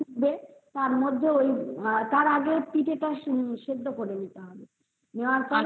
দিয়ে তারপরে ওই পিঠে তা সিদ্ধ করে নিতে হবে তারপরে